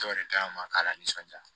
Dɔ de ka ɲi an ma k'a la nisɔndiya